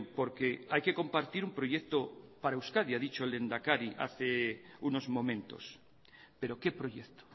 porque hay que compartir un proyecto para euskadi ha dicho el lehendakari hace unos momentos pero qué proyecto